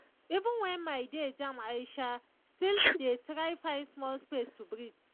even when my day jam i um still dey try find small space to breathe.